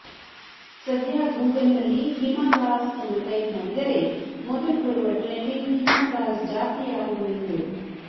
ಸದ್ಯ ಗೂಗಲ್ ನಲ್ಲಿ ಹಿಮಾದಾಸ್ ಎಂದು ಟೈಪ್ ಮಾಡಿದರೆ ಮೊದಲು ಬರುವ ಟ್ರೆಂಡಿಂಗ್ ಹಿಮಾದಾಸ್ ಜಾತಿ ಯಾವುದು ಎಂದು